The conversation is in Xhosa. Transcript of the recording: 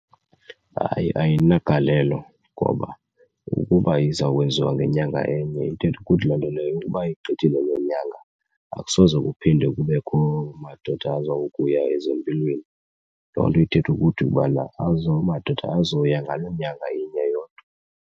Hayi, ayinagalelo ngoba ukuba iza kwenziwa ngenyanga enye ithetha ukuthi loo nto leyo ukuba igqithile loo nyanga akusoze kuphinde kubekho madoda aza kuya ezempilweni. Loo nto ithetha ukuthi ubana amadoda azoya ngaloo nyanga inye yodwa.